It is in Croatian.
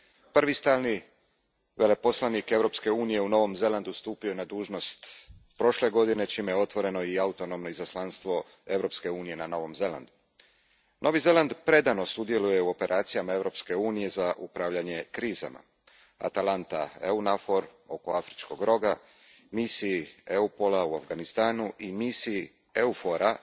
Prvi stalni veleposlanik Europske unije u Novom Zelandu stupio je na dužnost prošle godine, čime je otvoreno i autonomno izaslanstvo Europske unije na Novom Zelandu. Novi Zeland predano sudjeluje u operacijama Europske unije za upravljanje krizama Atalanta EUNAVFOR a oko Afričkoga roga, misiji EUPOL a u Afganistanu i misiji EUFOR a